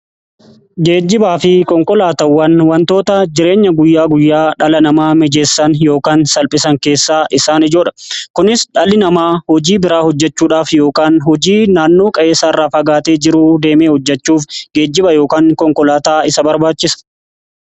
Geejibaa fi konkolaatawwan wantoota jireenya guyyaa guyyaa dhala namaa mijeessan yookaan salphisan keessaa isaan ijoodha kunis dhalli namaa hojii biraa hojjechuudhaaf yookaan hojii naannoo qe'eessaa irraa fagaatee jiruu deemee hojjechuuf geejjiba yookaan konkolaataa isa barbaachisa.